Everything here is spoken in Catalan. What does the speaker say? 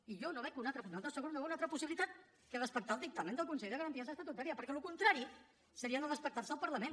i jo no veig una altra possibilitat que respectar el dictamen del consell de garanties estatutàries perquè el contrari seria no respectar el parlament